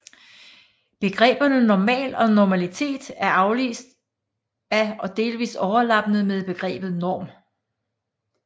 Begreberne normal og normalitet er afledt af og delvist overlappende med begrebet norm